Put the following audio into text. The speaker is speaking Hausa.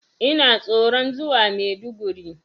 Ina tsoron zuwa Maiduguri.